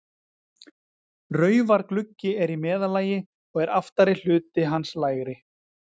Raufaruggi er í meðallagi, og er aftari hluti hans lægri.